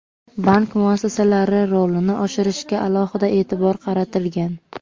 bank muassasalari rolini oshirishga alohida eʼtibor qaratilgan.